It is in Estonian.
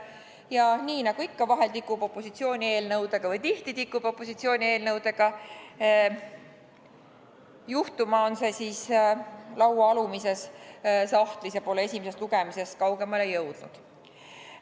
Aga nii nagu ikka vahel – või tihti – tikub opositsiooni eelnõudega juhtuma, on see laua alumises sahtlis ega ole esimesest lugemisest kaugemale jõudnud.